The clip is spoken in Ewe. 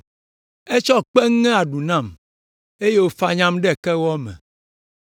Etsɔ kpe ŋe aɖu nam eye wòfanyam ɖe kewɔ me.